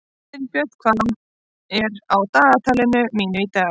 Styrbjörn, hvað er á dagatalinu mínu í dag?